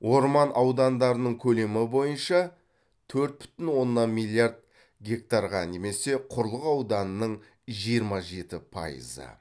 орман аудандарының көлемі бойынша